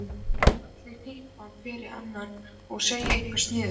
Allir hnippandi hver í annan og að segja eitthvað sniðugt.